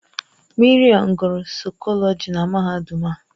Maryam gụrụ saịkọlọji na mahadum a.